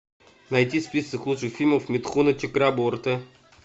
найти список лучших фильмов митхуна чакраборти